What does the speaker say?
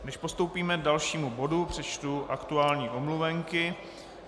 Než postoupíme k dalšímu bodu, přečtu aktuální omluvenky.